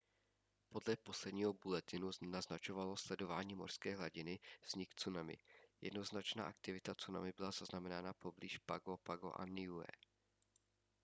podle posledního bulletinu naznačovalo sledování mořské hladiny vznik tsunami jednoznačná aktivita tsunami byla zaznamenána poblíž pago pago a niue